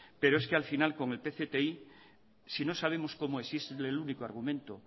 pero es que al final con el pcti si no sabemos como el único argumento